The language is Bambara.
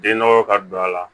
Den nɔgɔ ka don a la